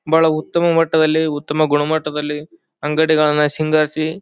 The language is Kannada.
ಬಹಳ ಉತ್ತಮ ಮಟ್ಟದಲ್ಲಿ ಉತ್ತಮ ಗುಣಮಟ್ಟದಲ್ಲಿ ಅಂಗಡಿಗಲ್ಲನ್ನ ಸಿಂಗಾರ್ಸಿ --